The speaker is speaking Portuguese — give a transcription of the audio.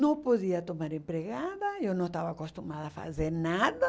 Não podia tomar empregada, eu não estava acostumada a fazer nada.